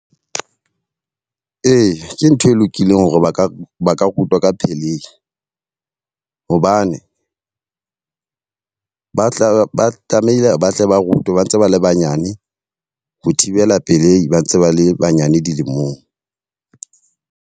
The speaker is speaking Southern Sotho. Ee, ke ntho e lokileng hore ba ka ba ka rutwa ka pelehi. Hobane ba tla ba tlamehile ba tle ba rutwe ba ntse ba le banyane ho thibela pelehi, ba ntse ba le banyane dilemong.